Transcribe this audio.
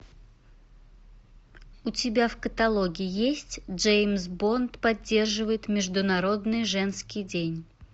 у тебя в каталоге есть джеймс бонд поддерживает международный женский день